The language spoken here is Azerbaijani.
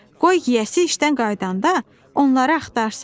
Qoy yiyəsi işdən qayıdanda onları axtarsın.